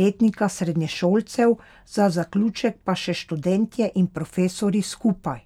letnika srednješolcev, za zaključek pa še študentje in profesorji skupaj.